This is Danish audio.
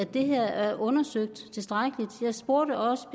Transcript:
at det her er undersøgt tilstrækkeligt jeg spurgte også